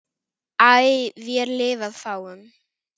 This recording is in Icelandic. æ vér lifað fáum